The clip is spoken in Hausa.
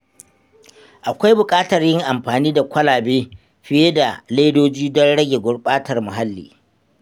Akwai bukatar yin amfani da kwalabe fiye da ledoji don rage gurɓatar muhalli.